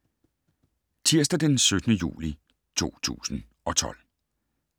Tirsdag d. 17. juli 2012